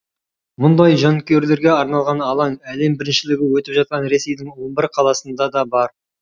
мұндай жанкүйерлерге арналған алаң әлем біріншілігі өтіп жатқан ресейдің он бір қаласында да бар